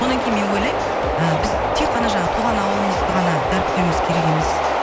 онан кейін мен ойлаймын ы біз тек қана жаңағы туған ауылымызды ғана дәріптеуіміз керек емес